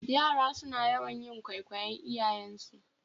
Yara suna yawan kwaikwayar iyayensu